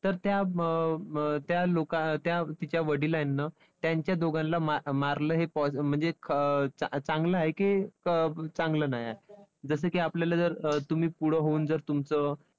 तर त्या त्या तिच्या वडिलांनं त्यांच्या दोघांला मारलं हे म्हणजे चांगलं आहे की चांगलं नाहीये? जसं की आपल्याला जर तुम्ही पुढं होऊन जर तुमचं